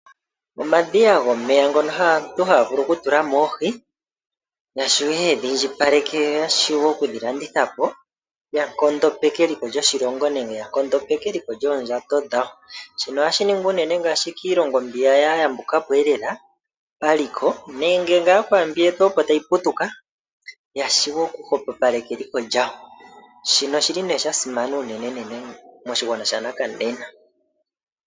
Omadhiya gomeya ngono aantu haya vulu oku tula mo oohi ya shiwe yedhi indjipaleke, yo ya shiwe oku dhi landitha po, ya nkondopeke eliko lyoshilongo nenge ya nkondopeke eliko lyoondjato dhawo. Shino ohashi ningwa unene ngaashi kiilongo mbiya ya yambuka po lela paliko nenge ngaa pwambi yetu opo tayi putuka ya shiwe oku hwapapaleka eliko lyawo. Shino oshili nee sha simana unenenene moshigwana shanakanena.